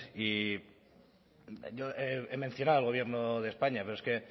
he mencionado al gobierno de españa pero es que